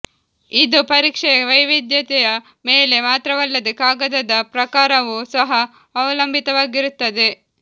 ಇದು ಪರೀಕ್ಷೆಯ ವೈವಿಧ್ಯತೆಯ ಮೇಲೆ ಮಾತ್ರವಲ್ಲದೆ ಕಾಗದದ ಪ್ರಕಾರವೂ ಸಹ ಅವಲಂಬಿತವಾಗಿರುತ್ತದೆ